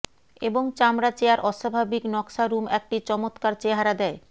এবং চামড়া চেয়ার অস্বাভাবিক নকশা রুম একটি চমত্কার চেহারা দেয়